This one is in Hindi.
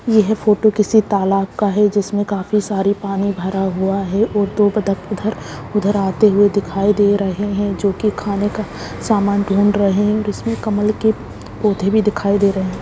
यह फोटो किसी तालाब का है जिसमे काफी सारी पानी भारा हुआ है और---- ]